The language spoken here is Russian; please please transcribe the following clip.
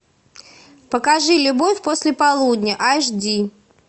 покажи любовь после полудня аш ди